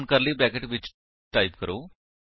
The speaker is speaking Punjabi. ਹੁਣ ਕਰਲੀ ਬਰੈਕੇਟਸ ਵਿੱਚ ਟਾਈਪ ਕਰੋ